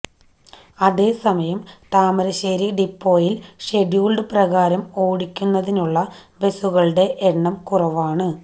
അതേസമയംതാമരശ്ശേരി ഡിപ്പോയില് ഷഡ്യൂള് പ്രകാരം ഓടിക്കുന്നതിനുള്ള ബസുകളൂടെ എണ്ണം കുറവാണ്